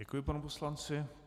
Děkuji panu poslanci.